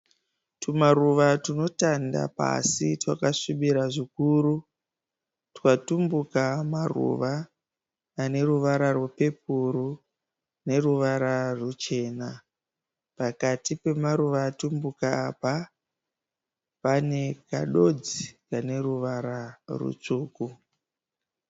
Tumaruva tunotanda pasi twakasvibira zvikuru. Twatumbuka maruva aneruvara rwepepuru neruvara rwuchena. Pakati pemaruva atumbuka apa, pane kadonzi kaneruvara rwutsvuku.